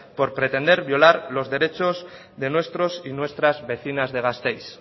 por pretender violar los derechos de nuestros y nuestras vecinas de gasteiz